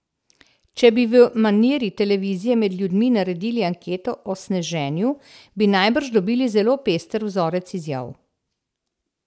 Če bi v maniri televizije med ljudmi naredili anketo o sneženju, bi najbrž dobili zelo pester vzorec izjav.